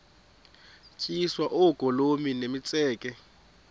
tyiswa oogolomi nemitseke